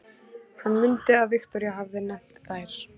Hann mundi að Viktoría hafði nefnt þær.